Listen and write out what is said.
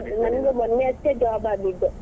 ನಂಗೆ ನಂಗೆ ಮೊನ್ನೆ ಅಷ್ಟೇ job ಆಗಿದ್ದು.